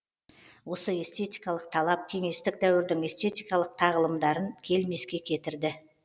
осы эстетикалық талап кеңестік дәуірдің эстетикалық тағылымдарын келмеске кетірді